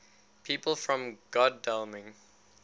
people from godalming